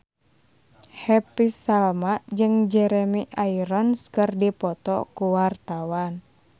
Happy Salma jeung Jeremy Irons keur dipoto ku wartawan